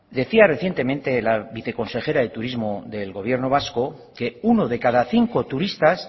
decía recientemente la viceconsejera de turismo del gobierno vasco que uno de cada cinco turistas